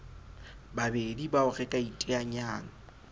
babedi bao re ka iteanyang